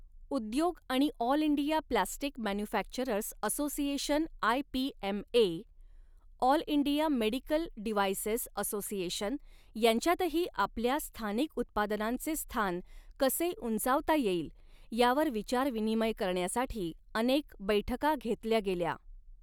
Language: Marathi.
उद्योग आणि All India Plastic Manufacturers Association I P M A, All India Medical Devices Association यांच्यातही आपल्या स्थानिक उत्पादनांचे स्थान कसे उंचावता येईल यावर विचार विनिमय करण्यासाठी अनेक बैठका घेतल्या गेल्या.